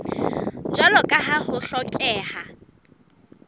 jwalo ka ha ho hlokeha